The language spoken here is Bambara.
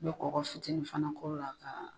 I bɛ kɔKɔ fitinin fana k'o la ka